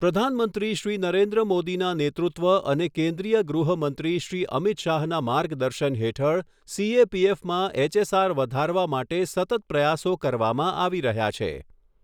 પ્રધાનમંત્રી શ્રી નરેન્દ્ર મોદીના નેતૃત્વ અને કેન્દ્રીય ગૃહ મંત્રી શ્રી અમિત શાહના માર્ગદર્શન હેઠળ સીએપીએફમાં એચએસઆર વધારવા માટે સતત પ્રયાસો કરવામાં આવી રહ્યા છે